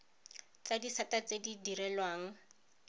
tsa disata tse di direlwang